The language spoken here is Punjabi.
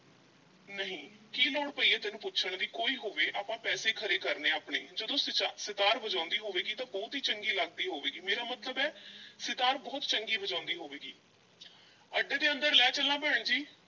ਨਹੀਂ, ਕੀ ਲੋੜ ਪਈ ਐ ਤੈਨੂੰ ਪੁੱਛਣ ਦੀ ਕੋਈ ਹੋਵੇ, ਆਪਾਂ ਪੈਸੇ ਖਰੇ ਕਰਨੇ ਐਂ ਆਪਣੇ, ਜਦੋਂ ਸਿਤਾ ਸਿਤਾਰ ਵਜਾਉਂਦੀ ਹੋਵੇਗੀ ਤਾਂ ਬਹੁਤ ਈ ਚੰਗੀ ਲੱਗਦੀ ਹੋਵੇਗੀ, ਮੇਰਾ ਮਤਲਬ ਐ ਸਿਤਾਰ ਬਹੁਤ ਚੰਗੀ ਵਜਾਉਂਦੀ ਹੋਵੇਗੀ ਅੱਡੇ ਦੇ ਅੰਦਰ ਲੈ ਚੱਲਾਂ ਭੈਣ ਜੀ?